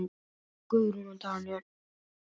Guðrún og Daníel.